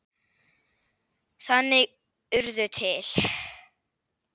Þannig urðu til